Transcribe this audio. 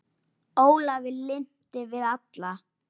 Ólafi lynti við alla